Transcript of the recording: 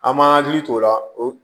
An m'an hakili t'o la o